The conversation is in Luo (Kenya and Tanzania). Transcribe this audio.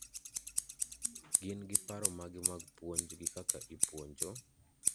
gin gi paro mage mag puonj gi kaka ipuonjo?